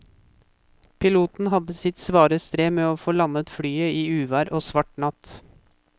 Piloten hadde sitt svare strev med å få landet flyet i uvær og svart natt.